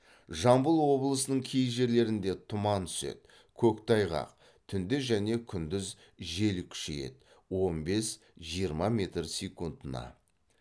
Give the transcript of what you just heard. жамбыл облысының кей жерлерінде тұман түседі көктайғақ түнде және күндіз жел күшейеді он бес жиырма метр секундына